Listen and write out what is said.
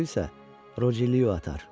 Toru isə Roceliya atar.